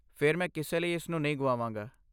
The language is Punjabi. ਫਿਰ, ਮੈਂ ਕਿਸੇ ਲਈ ਇਸ ਨੂੰ ਨਹੀਂ ਗੁਆਵਾਂਗਾ।